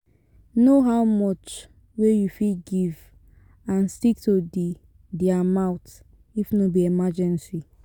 Know how much wey you fit give and stick to di di amount if no be emergency